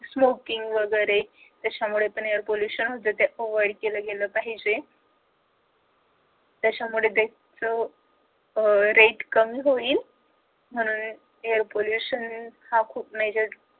smoking वगैरे त्याच्यामुळे पण air pollution होत ते avoid केलं गेलं पाहिजे त्याच्यामुळे त्याचा rate कमी होईल म्हणून air pollution हा खूप majorly